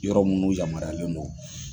Yɔrɔ minnu yamaruyalen don